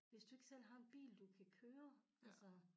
Hvis du ikke selv har en bil du kan køre altså